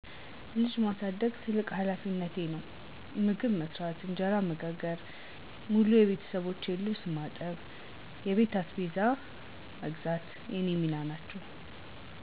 ልጅ ማሳደግ ትልቁ ሀላፊነቴ ነው። መግብ መስራት፣ እንጀራ መጋገር፣ የሙሉ ቤተሠቦቼን ልብስ ማጠብ፣ የቤት አስቤዛ መግዛት የኔ ሚና ናቸው።